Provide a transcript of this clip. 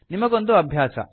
ನಿಮಗೊಂದು ಅಭ್ಯಾಸ